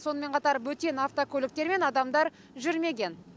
сонымен қатар бөтен автокөліктер мен адамдар жүрмеген